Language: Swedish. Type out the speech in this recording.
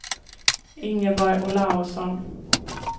Ingeborg Olausson